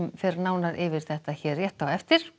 fer nánar yfir þetta hér rétt á eftir